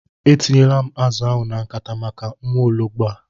E tinyela m azụ ahụ na nkata maka nwaologbo a.